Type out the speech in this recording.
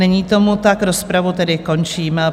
Není tomu tak, rozpravu tedy končím.